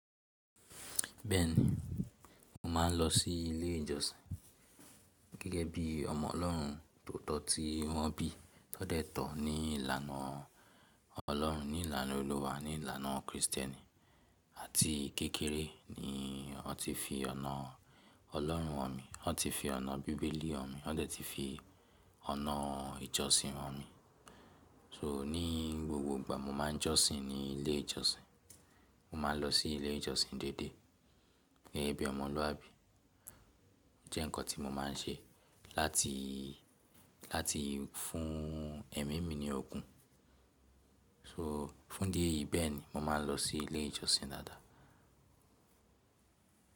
Bẹ́ẹ̀ni, mo máà ń lọ sí ilé ìjọsìn gẹ́gẹ́ bí ọmọ Ọlọ́run tó tọ̀ tí wọ́n bí. Ó dẹ́ tọ̀ ní ìlànà Ọlọ́run, ní ìlànà Olúwa, ní ìlànà Kristẹni. Àti kékeré ni wọ́n ti fi ọ̀nà Ọlọ́run hàn mí, wọ́n ti fi ọ̀nà Bíbélì hàn mí, wọ́n dẹ̀ ti fi ọ̀nà ìjọsìn hàn mí. So ní gbogbo ìgbà mo máa ń jọ́sìn ní ilé ìjọsìn, mo máa ń lọ sí ilé ìjọsìn déédéé gẹ́gẹ́ bí ọmọluabi. Jẹ́ nǹkan tí mo máa ń ṣe láti, láti fún ẹ̀mí mi ní ogún. So, fún idi eyi bẹ́ẹ̀ni, mo máa ń lọ sí ilé ìjọsìn dáadáa.